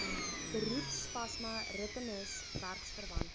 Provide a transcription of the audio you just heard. beroepsasma rinitis werkverwante